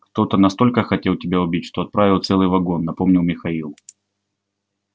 кто-то настолько хотел тебя убить что отправил целый вагон напомнил михаил